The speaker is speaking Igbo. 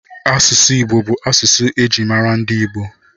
Asụsụ Igbo bụ asụsụ e ji mara ndị Igbo